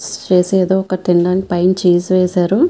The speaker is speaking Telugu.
ఏదో ఒకటి తినడానికి పైన ఛీస్ వేశారు.